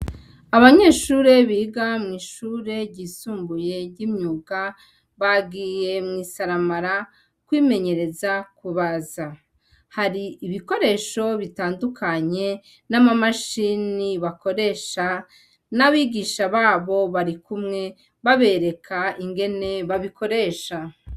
Abanyeshure biga mw'ishure ryisumbuye ry'imyuga bagiye mw'isaramara kwimenyereza kubaza, hari ibikoresho bitandukanye n'amamashini bakoresha n'abigisha babo barikumwe babereka ingene babikoresha.